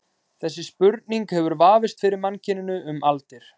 Þessi spurning hefur vafist fyrir mannkyninu um aldir.